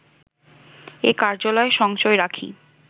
এ কার্যালয় সঞ্চয় রাখি